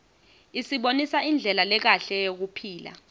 isibonisa indlela lekahle yekuphila